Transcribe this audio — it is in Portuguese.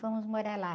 Fomos morar lá.